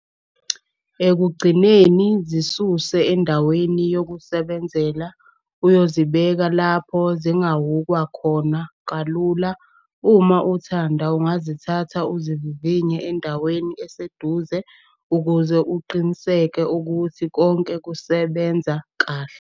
Ekugcineni, zisuse endaweni yokusebenzela uyozibeka lapho zingahhukwa khona kalula. Uma uthanda ungazithatha uzivivinye endaweni eseduze ukuze uqiniseke ukuthi konke kusebenza kahle.